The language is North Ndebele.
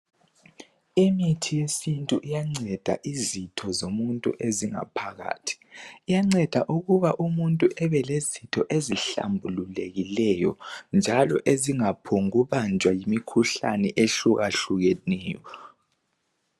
Imithi yesintu iyanceda izitho zomuntu ezingaphakathi iyanceda ukuba umuntu abelezitho ezihlambululekileyo njalo ezingaphumbu kubanjwa yimikhuhlane eyehlukehlukeneyo.